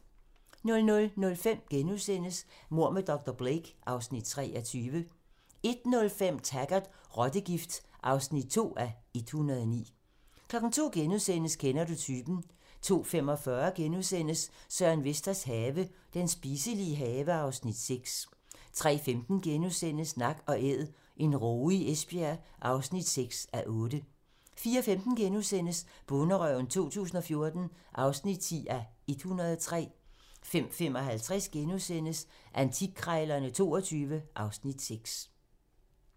00:05: Mord med dr. Blake (Afs. 23)* 01:05: Taggart: Rottegift (2:109) 02:00: Kender du typen? * 02:45: Søren Vesters have - Den spiselige have (Afs. 6)* 03:15: Nak & æd - en råge i Esbjerg (6:8)* 04:15: Bonderøven 2014 (10:103)* 05:55: Antikkrejlerne XXII (Afs. 6)*